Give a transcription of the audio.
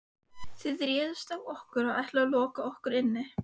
Þið réðust á okkur og ætluðuð að loka okkur inni.